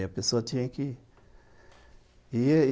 E aí a pessoa tinha que... ir.